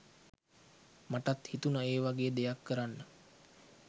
මටත් හිතුනා ඒවගේ දෙයක් කරන්න